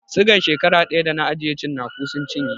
Sigan shekara ɗaya da na ajiye cinaku sun cinye